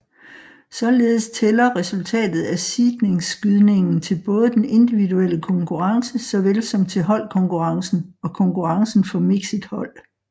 Således tæller resultatet af seedningsskydningen til både den individuelle konkurrence såvel som til holdkonkurrencen og konkurrencen for mixed hold